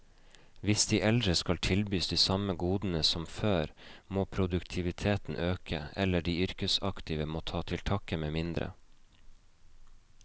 Hvis de eldre skal tilbys de samme godene som før, må produktiviteten øke, eller de yrkesaktive må ta til takke med mindre.